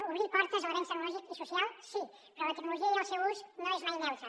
obrir portes a l’avenç tecnològic i social sí però la tecnologia i el seu ús no són mai neutres